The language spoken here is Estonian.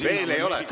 Veel ei ole.